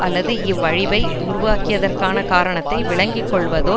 அல்லது இவ் அழிவை உருவாக்கியதற்கான காரணத்தை விளங்கிக்கொள்வதோ